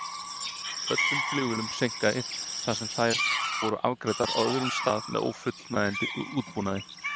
Öllum flugvélum seinkaði þar sem þær voru afgreiddar á öðrum stað með ófullkomnum útbúnaði.